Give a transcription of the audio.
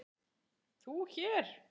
ÞÚ HÉR?